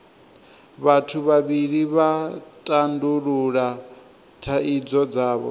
vhathu vhavhili vha tandulula thaidzo dzavho